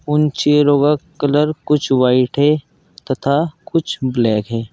उन चेयरो का कलर कुछ व्हाइट है तथा कुछ ब्लैक है।